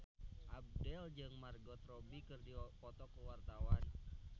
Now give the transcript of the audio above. Abdel jeung Margot Robbie keur dipoto ku wartawan